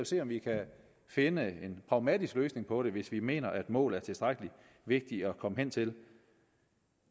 se om vi kan finde en pragmatisk løsning på det hvis vi mener at målet er tilstrækkelig vigtigt at komme hen til